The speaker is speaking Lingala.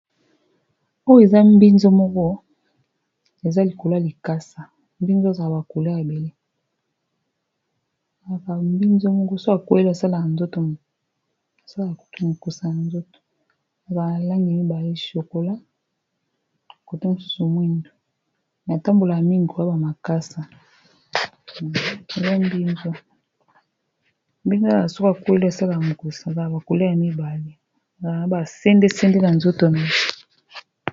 Oyo eza mbinzo moko eza likola likasa mbinzo za bakule abelesala kuki mokusa na nzoto ag mibali shokola, kote mosusu mwinu na tambola ya mingi aba makasawbakulymibabasendesende na nzoto nae